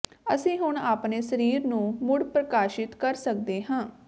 ਅਸੀਂ ਹੁਣ ਆਪਣੇ ਸਰੀਰ ਨੂੰ ਮੁੜ ਪ੍ਰਕਾਸ਼ਿਤ ਕਰ ਸਕਦੇ ਹਾਂ